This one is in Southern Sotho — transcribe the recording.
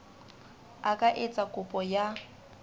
a ka etsa kopo ya